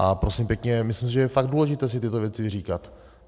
A prosím pěkně, myslím si, že je fakt důležité si tyto věci vyříkat.